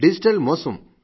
digital మోసం